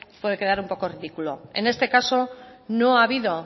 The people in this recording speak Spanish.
puede quedar un poco ridículo en este caso no ha habido